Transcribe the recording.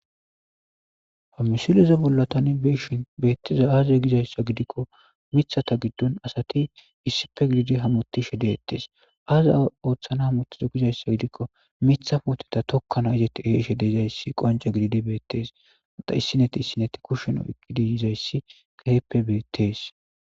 ha misileze bolla tani be'ishin beettizay aaze gizayssa gidikko mithata giddon asati issife gididi hamoti she deettes aaza ooththana hamotizo gizayssa gidikko mitha pooteta tokkana izetti eshede izayssi qonca gididi beettees mada issineti issinetti kushshen oy kidi bettizayssi keehippe beettees